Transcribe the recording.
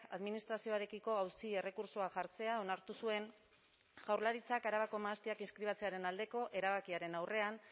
administrazioarekiko auzi errekurtsoa jartzea onartu zuen jaurlaritzak arabako mahastiak inskribatzearen aldeko erabakiaren aurrean